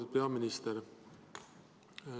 Lugupeetud peaminister.